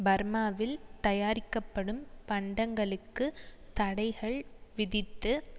பர்மாவில் தயாரிக்கப்படும் பண்டங்களுக்கு தடைகள் விதித்து